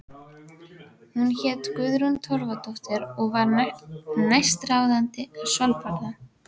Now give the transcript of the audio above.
Hún hét Guðrún Torfadóttir og var næstráðandi í Svalbarða.